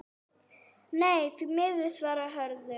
Nei, því miður svarar Hörður.